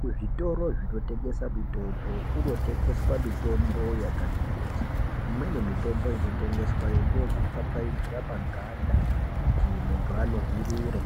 Kuzvitoro zvinotengesa mitombo, kunotengeswa mitombo yakati kuti. Imweni mitombo inotengeswa ngeyekupfapfaidzira paganda kuti muntu anuhwirire.